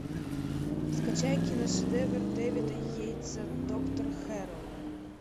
скачай киношедевр дэвида йейтса доктор хэрроу